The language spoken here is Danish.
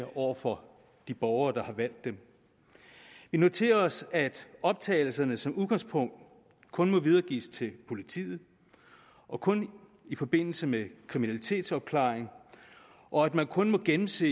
over for de borgere der har valgt dem vi noterer os at optagelserne som udgangspunkt kun må videregives til politiet og kun i forbindelse med kriminalitetsopklaring og at man kun må gennemse